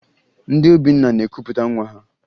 Ndị be Obinna na-ekupụta nwa ha